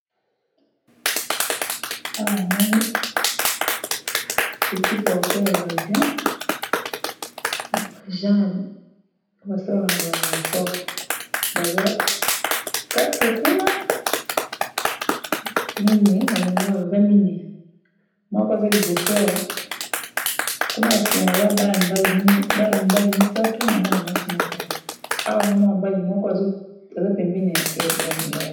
Awa namoni petit porteur ya avion na ba ageants basalaka na aeroport baza 4 kuna mine na lingaka baza mine moko aza liboso awa kuna basima baza bana mibali 3 na mwana mwasi moko awa na mwana mbali moko aza pembeni